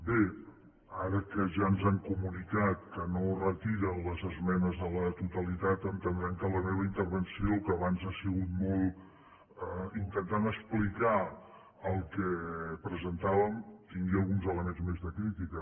bé ara que ja ens han comunicat que no retiren les esmenes a la totalitat entendran que la meva intervenció que abans ha sigut molt intentant explicar el que presentàvem tingui alguns elements més de crítica